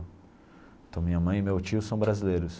Então minha mãe e meu tio são brasileiros.